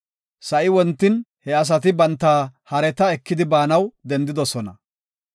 Sa7i wontin he asati banta hareta ekidi baanaw dendidosona.